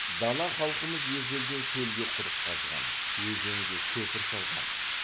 дана халқымыз ежелден шөлге құдық қазған өзенге көпір салған